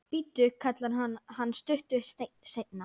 Bíddu, kallar hann stuttu seinna.